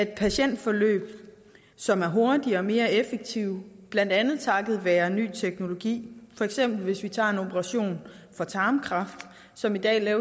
patientforløb som er hurtigere og mere effektive blandt andet takket være ny teknologi hvis for eksempel tager en operation for tarmkræft som i dag